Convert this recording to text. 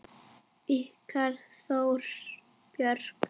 Ykkar Þóra Björk.